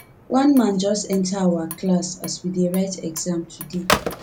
one man just enter our class as we dey write exam today